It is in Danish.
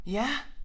Ja